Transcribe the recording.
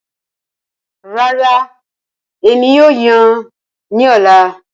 Rara, Emi kii yoo yan ni ọla.